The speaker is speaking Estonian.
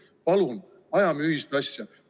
Palun ajame ühist asja!